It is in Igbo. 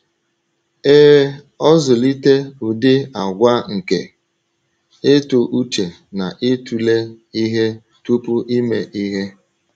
Ee, ọzụlite ụdị àgwà nke ịtụ uche na ịtụle ihe tupu ime ihe.